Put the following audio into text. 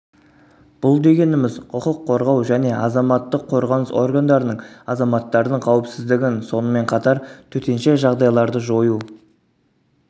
бұл дегеніміз құқық қорғау және азаматтық қорғаныс органдарының азаматтардың қауіпсіздігін сонымен қатар төтенше жағдайларды жою